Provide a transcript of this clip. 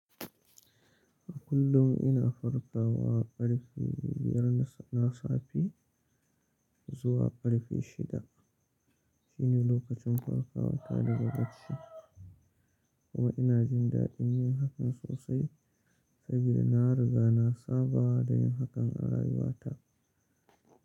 A kullum ina farkawa ƙarfe biyar na safe zuwa ƙarfe shida. Shine lokacin farkawa ta daga bacci, kuma ina jin daɗin yin hakan sosai saboda na riga na saba da yin hakan a rayuwata.